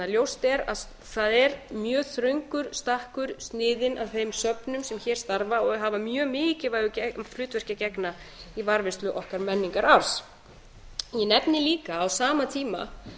ljóst er að það er mjög þröngur stakkur sniðinn að þeim söfnum sem hér starfa og hafa mjög mikilvægu hlutverki að gegna í varðveislu okkar menningararfs ég nefni líka að á sama tíma